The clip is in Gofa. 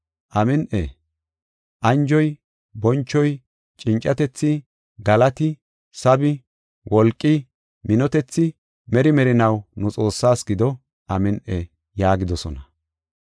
“Amin7i! Anjoy, bonchoy, cincatethi, galati, sabi wolqi, minotethi meri merinaw nu Xoossaas gido. Amin7i!” yaagidosona.